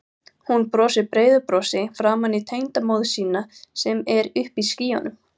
Hún brosir breiðu brosi framan í tengdamóður sína sem er uppi í skýjunum.